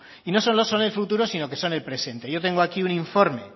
y no solo son el futuro sino que son el presente yo tengo aquí un informe